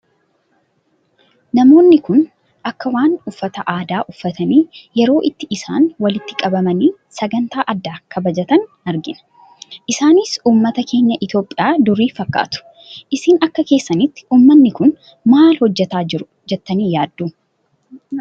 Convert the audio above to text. Namoonni Kun, akka waan uffata aadaa uffatanii yeroo itti isaan walitti qabamanii sagantaa addaa kabajatan argina. Isaanis uummata keenya Itoophiyaa durii fakkaatu. Isin akka keessanitti uummatni Kun maal hojjetaa jiru jettanii yaaddu?